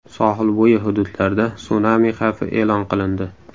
Sohilbo‘yi hududlarda sunami xavfi e’lon qilindi.